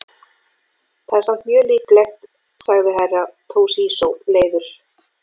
Það er samt mjög líklegt, sagði Herra Toshizo leiður.